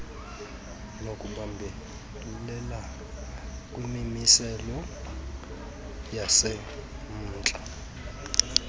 nokubambelela kwimimiselo yasemntla